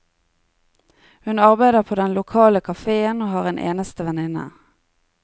Hun arbeider på den lokale kafeen og har en eneste venninne.